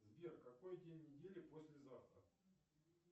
сбер какой день недели послезавтра